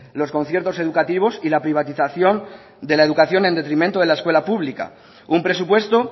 los conciertos educativos y la privatización de la educación en detrimento de la escuela pública un presupuesto